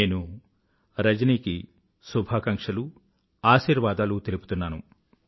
నేను రజనికి శుభాకాంక్షలు ఆశీర్వాదాలు తెలుపుతున్నాను